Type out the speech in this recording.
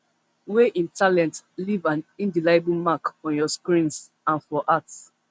wey im talent leave an indelible mark on ur screens and for hearts